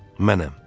Mənəm.